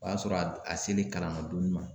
O y'a sɔrɔ a selen kalan ladonni ma